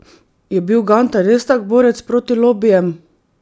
Je bil Gantar res tak borec proti lobijem?